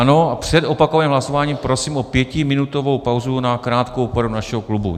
Ano, před opakovaným hlasováním prosím o pětiminutovou pauzu na krátkou poradu našeho klubu.